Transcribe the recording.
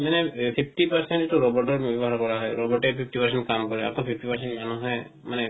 মানে fifty percent তো robot ৰ নিৰ্মান কৰা হয় robot এ fifty percent কাম কৰে আকো fifty percent মানুহে মানে